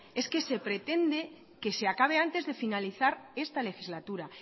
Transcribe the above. es que se pretende que se acabe antes de finalizar esta legislatura